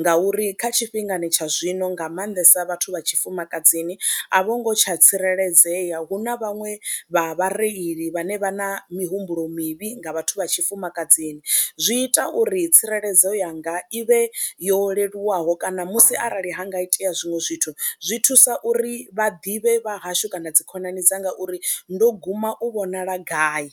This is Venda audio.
ngauri kha tshifhingani tsha zwino nga maanḓesa vhathu vha tshifumakadzini a vho ngo tsha tsireledzea, hu na vhaṅwe vha vhareili vhane vha na mihumbulo mivhi nga vhathu vha tshifumakadzini, zwi ita uri tsireledzo yanga i vhe yo leluwaho kana musi arali ha nga itea zwiṅwe zwithu zwi thusa uri vha ḓivhe vha hashu kana dzikhonani dza ngauri ndo guma u vhonala gai.